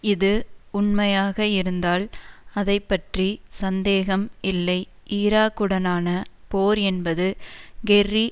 இது உண்மையாக இருந்தால் அதை பற்றி சந்தேகம் இல்லை ஈராக்குடனான போர் என்பது கெர்ரி